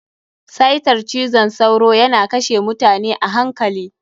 Cytar cizon sauro yana kashe mutane a hankali.